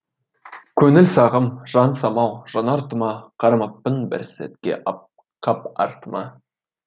көңіл сағым жан самал жанар тұма қарамаппын бір сәтке қап артыма